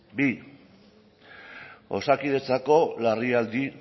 bi osakidetzako larrialdi